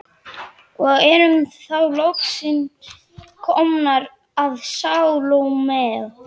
Og erum þá loksins komnar að Salóme.